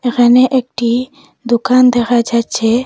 এখানে একটি দুকান দেখা যাচ্ছে।